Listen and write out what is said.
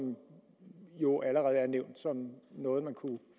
jo allerede er nævnt som noget man kunne